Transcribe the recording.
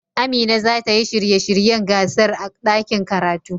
Amina za ta yi shirye shiryen gasar a ɗakin karatu.